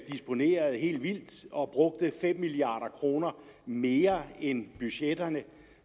disponerede helt vildt og brugte fem milliard kroner mere end budgetteret